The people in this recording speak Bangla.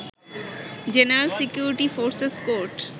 general security forces court